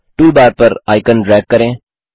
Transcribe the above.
toolbar पर icon drag करें